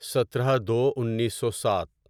سترہ دو انیسو سات